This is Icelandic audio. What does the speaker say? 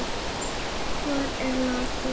Hvar er Laddi?